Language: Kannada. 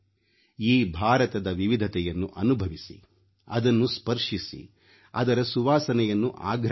ಈ ಭಾರತದ ವಿವಿಧತೆಯನ್ನು ಅನುಭವಿಸಿ ಅದನ್ನು ಸ್ಪರ್ಶಿಸಿ ಅದರ ಸುವಾಸನೆಯನ್ನು ಆಘ್ರಾಣಿಸಿ